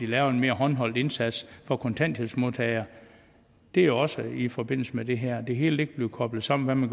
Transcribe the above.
laver en mere håndholdt indsats for kontanthjælpsmodtagere det er også i forbindelse med det her det hele bliver koblet sammen